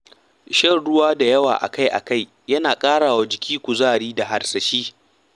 Shan ruwa da yawa akai akai yana ƙarawa jiki kuzari da harsashi